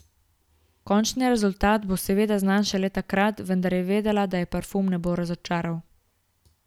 Končni rezultat bo seveda znan šele takrat, vendar je vedela, da je parfum ne bo razočaral.